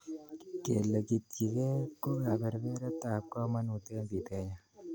Kelegityigei ko kebebertab komonut eng pitenyo.